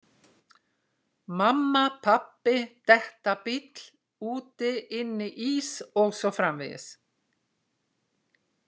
Mamma, pabbi, detta, bíll, úti, inni, ís og svo framvegis